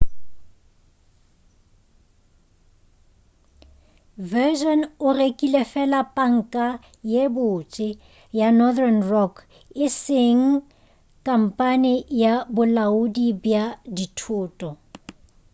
virgin e rekile fela panka ye botse' ya northern rock e seng khamphane ya bolaodi bja dithoto